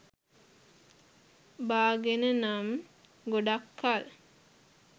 බාගෙන නම් ගොඩක් කල්